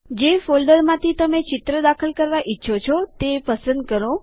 જે ફોલ્ડરમાંથી તમે ચિત્ર દાખલ કરવા ઈચ્છો છો તે પસંદ કરો